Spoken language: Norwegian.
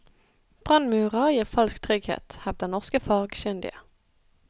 Brannmurer gir falsk trygghet, hevder norske fagkyndige.